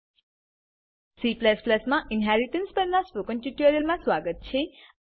C માં inheritance inheritance પરનાં spoken ટ્યુટોરીયલમાં સ્વાગત છે